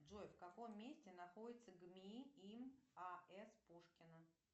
джой в каком месте находится гми им а с пушкина